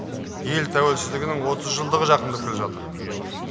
ел тәуелсіздігінің отыз жылдығы жақындап келе жатыр